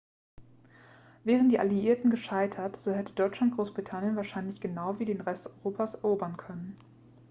wären die alliierten gescheitert so hätte deutschland großbritannien wahrscheinlich genau wie den rest europas erobern können